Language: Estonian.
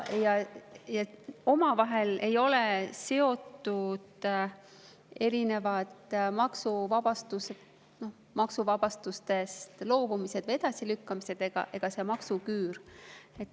Omavahel ei ole seotud erinevad maksuvabastustest loobumised, edasilükkamised ega see maksuküür.